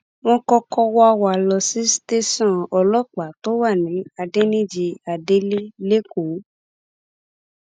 wọn kọkọ wá wa lọọ sí tẹsán ọlọpàá tó wà ní adẹnìjì adelé lẹkọọ